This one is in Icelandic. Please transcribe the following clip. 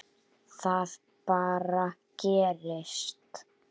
Það bara gerist.